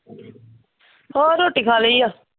ਹੋਰ ਰੋਟੀ ਖਾ ਲਈ ਆ।